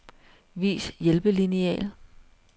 Vis hjælpelineal.